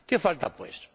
¿Qué falta pues?